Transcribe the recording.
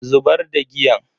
Zubar da giyan.